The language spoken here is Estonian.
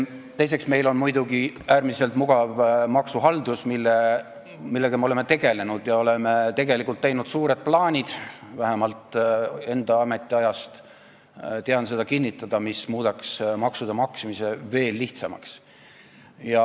Teiseks, meil on muidugi äärmiselt mugav maksuhaldus, millega me oleme tegelenud, ja me oleme tegelikult teinud suuri plaane , mis muudaksid maksude maksmise veel lihtsamaks.